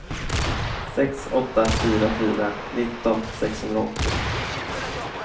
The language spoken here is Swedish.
sex åtta fyra fyra nitton sexhundraåttio